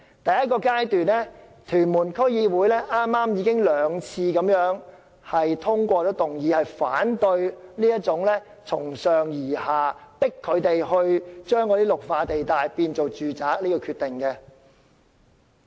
第一個階段是，屯門區議會已先後兩次通過議案，反對這個從上而下，強行將綠化地帶改劃為住宅的決定。